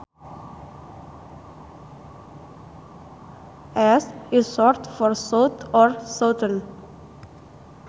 S is short for south or southern